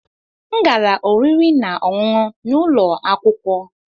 M gara oriri na ọṅụṅụ n'ụlọ akwụkwọ.